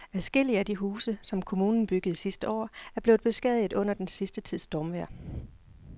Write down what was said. Adskillige af de huse, som kommunen byggede sidste år, er blevet beskadiget under den sidste tids stormvejr.